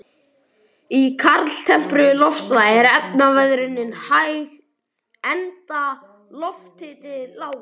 Í kaldtempruðu loftslagi er efnaveðrunin hæg enda lofthiti lágur.